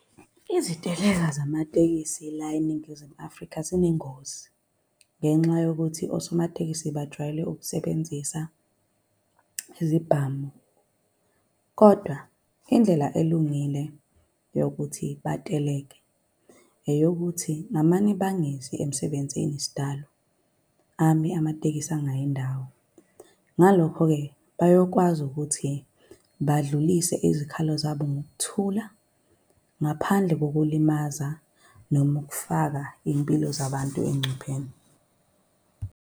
Iziteleka zamatekisi la eNingizimu Afrika zinengozi, ngenxa yokuthi osomatekisi bajwayele ukusebenzisa izibhamu. Kodwa indlela elungile yokuthi bateleke eyokuthi ngamane bangezi emsebenzini sidalo. Ame amatekisi angayi ndawo. Ngalokho-ke, bayokwazi ukuthi badlulise izikhalo zabo ngokuthula, ngaphandle kokulimaza, noma ukufaka iy'mpilo zabantu engcupheni.